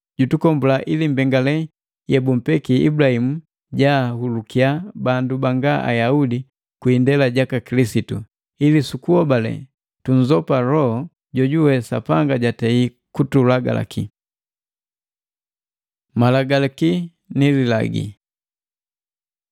Jutukombula ili nde mbengale yebumpeki Ibulahimu jaahulukiya bandu banga Ayaudi kwi indela jaka Kilisitu, ili sukuhobale, tunzopa Loho jojuwe Sapanga jatei kutulagila. Malagalaki ni Lilagi